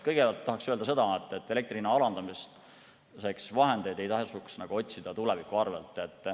Kõigepealt tahan öelda seda, et vahendeid elektri hinna alandamiseks ei tohi otsida tuleviku arvel.